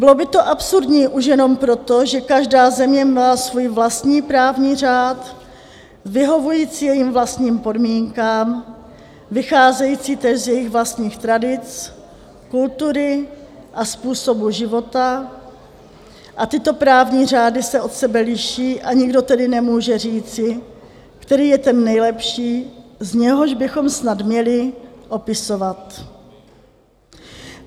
Bylo by to absurdní už jenom proto, že každá země má svůj vlastní právní řád vyhovující jejím vlastním podmínkám, vycházející též z jejich vlastních tradic, kultury a způsobu života, a tyto právní řády se od sebe liší, a nikdo tedy nemůže říci, který je ten nejlepší, z něhož bychom snad měli opisovat.